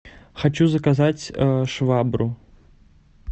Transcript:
хочу заказать швабру